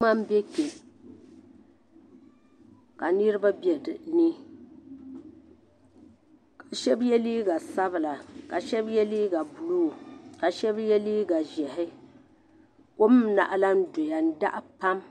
Pam be kpe ka niribi be dini ka shabi ye liiga sabila ka shabi ye liiga blue ka shabi ye liiga ʒɛhi kom n naɣilan doya n saɣi pam.